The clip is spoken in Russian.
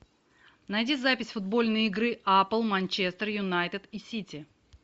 найди запись футбольной игры апл манчестер юнайтед и сити